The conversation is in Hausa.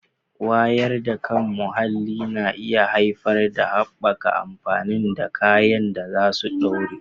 Wayar da kan muhalli na iya haifar da haɓaka amfani da kayan da za su ɗore